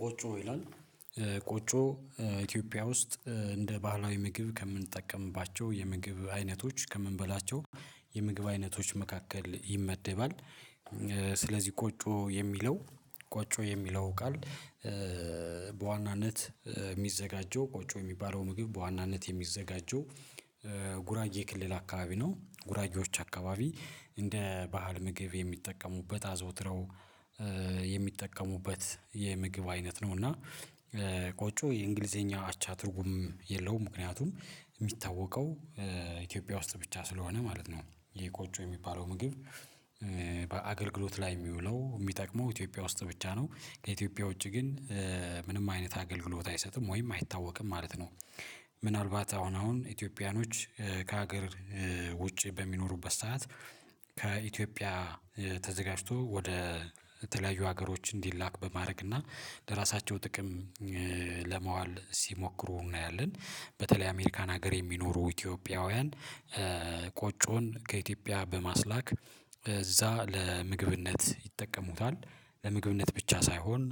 ቆጮ ይላል ቆጮ ኢትዮጵያ ውስጥ እንደ ባህላዊ ምግብ ከምንጠቀምባቸው የምግብ አይነቶች ከምንበላቸው የምግብ አይነቶች መካከል ይመደባል። ስለዚህ ቆጮ የሚለው ቆጮ የሚለው ቃል በዋናነት የሚዘጋጀው ቆጮ የሚባለው ምግብ በዋናነት የሚዘጋጀው ጉራጌ ክልል አካባቢ ነው ጉራጌዎች አካባቢ እንደ ባህል ምግብ የሚጠቀሙበት አዘውትረው የሚጠቀሙበት የምግብ አይነት ነው እና ቆጮ የእንግሊዘኛ አቻ ትርጉም የለውም ምክንያቱም የሚታወቀው ኢትዮጵያ ውስጥ ብቻ ስለሆነ ማለት ነው። ይሄ ቆጮ የሚባለው ምግብ ላይ የሚውለው የሚጠቅመው ኢትዮጵያ ውስጥ ብቻ ነው። ከኢትዮጵያ ውጪ ግን ምንም አይነት አገልግሎት አይሰጥም ወይም አይታወቅም ማለት ነው። ምናልባት አሁን አሁን ኢትዮጵያኖች ከሀገር ውጪ በሚኖሩበት ሰዓት ከኢትዮጵያ ተዘጋጅቶ ወደ የተለያዩ ሀገሮች እንዲላክ በማድረግ እና ለራሳቸው ጥቅም ለማዋል ሲሞክሩ እናያለን በተለይ አሜሪካን ሀገር የሚኖሩ ኢትዮጵያውያን ቆጮን ከኢትዮጵያ በማስላክ እዛ ለምግብነት ይጠቀሙታል። ለምግብነት ብቻ ሳይሆን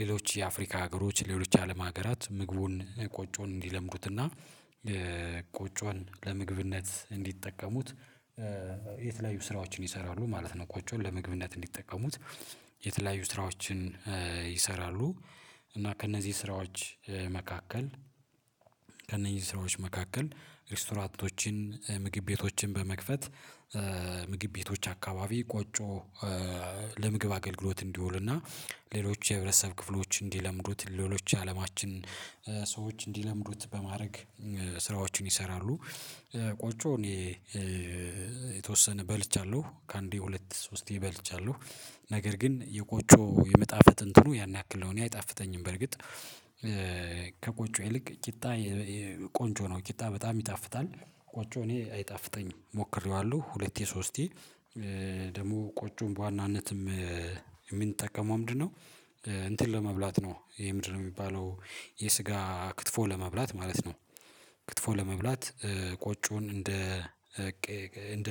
ሌሎች የአፍሪካ ሀገሮች ሌሎች አለም ሀገራት ምግቡን ቆጮን እንዲለምዱትና ቆጮን ለምግብነት እንዲጠቀሙት የተለያዩ ስራዎችን ይሰራሉ ማለት ነው ቆጮን ለመግብነት እንዲጠቀሙት የተለያዩ ስራዎችን ይሰራሉ እና ከእነዚህ ስራዎች መካከል ከእነዚህ ሰዎች መካከል ሪስቶራንቶችን፣ ምግብ ቤቶችን በመክፈት ምግብ ቤቶች አካባቢ ቆጮ ለምግብ አገልግሎት እንዲውልና ሌሎች የህብረተሰብ ክፍሎች እንዲለምዱት፣ ሌሎች አለማችን ሰዎች እንዲለምዱት በማድረግ ስራዎችን ይሰራሉ። ቆጮ እኔ የተወሰነ በልቻለሁ ከአንዴ ሁለት ሶስቴ በልቻለሁ። ነገር ግን የቆጮ የመጣፈጥ እንትኑ ያን ያክል ነው እኔ አይጣፍተኝም በርግጥ ከቆጮ ይልቅ ቂጣ ቆንጆ ነው ቂጣ በጣም ይጣፍጣል ቆጮ እኔ አይጣፍጠኝም ሞክሬዋለሁ ሁለቴ ሶስቴ ደግሞ ቆጮን በዋናነትም የምንጠቀመው ምንድነው እንትን ለመብላት ነው ይሄ ምንድነው የሚባለው የስጋ ክትፎ ለመብላት ማለት ነው። ክትፎ ለመብላት ቆጮን እንደ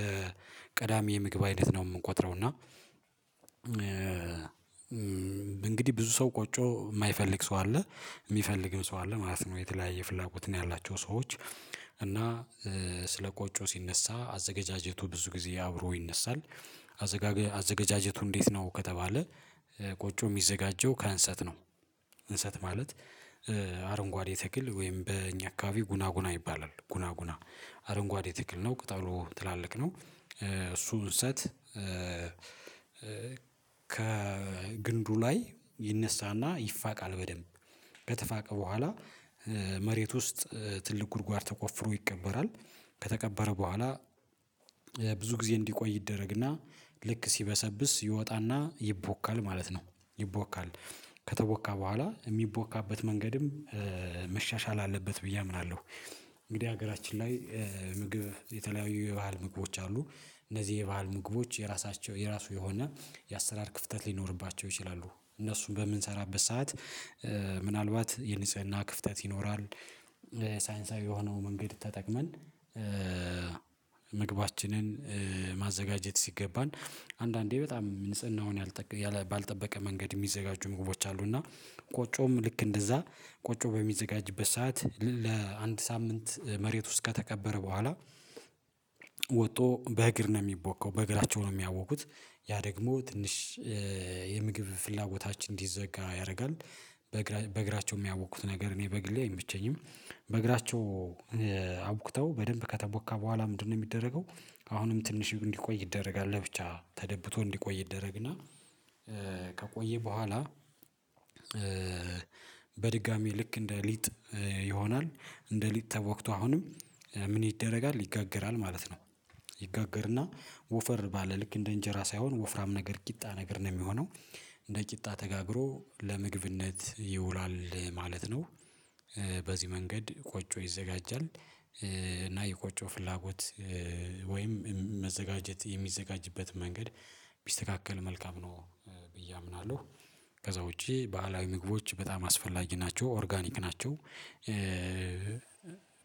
ቀዳሚ የምግብ አይነት ነው የምንቆጥረው እና እንግዲህ ብዙ ሰው ቆጮ የማይፈልግ ሰው አለ የሚፈልግም ሰው አለ ማለት ነው የተለያየ ፍላጎት ነው ያላቸው ሰዎች እና ስለ ቆጮ ሲነሳ አዘጋጃጀቱ ብዙ ጊዜ አብሮ ይነሳል። አዘገጃጀቱ እንዴት ነው ከተባለ ቆጮ የሚዘጋጀው ከእንሰት ነው። እንሰት ማለት አረንጓዴ ተክል ወይም በእኛ አካባቢ ጉና ጉና ይባላል ጉና ጉና አረንጓዴ ተክልል ነው ቅጠሉ ትላልቅ ነው እሱ እንሰት ከግንዱ ላይ ይነሳና ይፋቃል በደንብ ከተፋቀ በኋላ መሬት ውስጥ ትልቅ ጉድጓድ ተቆፍሮ ይቀበራል፣ ከተቀበረ በኋላ ብዙ ጊዜ እንዲቆይ ይደረግና ልክ ሲበሰብስ ይወጣና ይቦካል ማለት ነው ይቦካል፣ ከተቦካ በኋላ የሚቦካበት መንገድም መሻሻል አለበት ብዬ አምናለሁ። እንግዲህ ሀገራችን ላይ ምግብ የተለያዩ የባህል ምግቦች አሉ እነዚህ የባህል ምግቦች የራሳቸው የራሱ የሆነ የአሰራር ክፍተት ሊኖርባቸው ይችላሉ እነሱን በምንሰራበት ሰዓት ምናልባት የንጽህና ክፍተት ይኖራል፣ ሳይንሳዊ የሆነውን መንገድ ተጠቅመን ምግባችንን ማዘጋጀት ሲገባን አንዳንዴ በጣም ንጽህናውን ባልጠበቀ መንገድ የሚዘጋጁ ምግቦች አሉ እና ቆጮም ልክ እንደዛ ቆጮ በሚዘጋጅበት ሰዓት ለአንድ ሳምንት መሬት ውስጥ ከተከበረ በኋላ በእግር ነው የሚቦካው በእግራቸው ነው የሚያቦኩት ያ ደግሞ ትንሽ የምግብ ፍላጎታችን እንዲዘጋ ያደርጋል። በእግራቸው የሚያቦኩት ነገር እኔ በግሌ አይመቸኝም። በእግራቸው አቡክተው በደንብ ከተቦካ በኋላ ምንድነው የሚደረገው አሁንም ትንሽ እንዲቆይ ይደረጋል ለብቻ ተደብቶ እንዲቆይ ይደረግና ከቆየ በኋላ በድጋሚ ልክ እንደ ሊጥ ይሆናል። እንደ ሊጥ ተቦክቶ አሁንም ምን ይደረጋል ይጋገራል ማለት ነው። ይጋገርና ወፈር ባለ ልክ እንደ እንጀራ ሳይሆን ወፍራም ነገር ቂጣ ነገር ነው የሚሆነው እንደ ቂጣ ተጋግሮ ለምግብነት ይውላል ማለት ነው። በዚህ መንገድ ቆጮ ይዘጋጃል እና የቆጮ ፍላጎት ወይም መዘጋጀት የሚዘጋጅበት መንገድ ቢስተካከል መልካም ነው ብዬ አምናለሁ። ከዛ ውጪ ባህላዊ ምግቦች በጣም አስፈላጊ ናቸው፣ ኦርጋኒክ ናቸው፣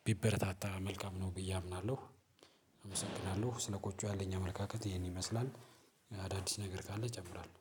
ቢበረታታ መልካም ነው ብዬ አምናለሁ። አመሰግናለሁ ስለ ቆጮ ያለኝ አመለካከት ይሄን ይመስላል፣ አዳዲስ ነገር ካለ እጨምራለሁ።